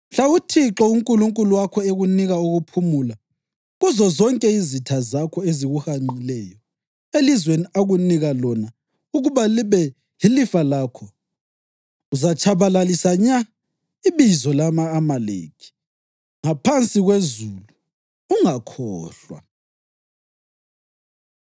Mhla uThixo uNkulunkulu wakho ekunika ukuphumula kuzozonke izitha zakho ezikuhanqileyo elizweni akunika lona ukuba libe yilifa lakho, uzatshabalalisa nya ibizo lama-Amaleki ngaphansi kwezulu. Ungakhohlwa!”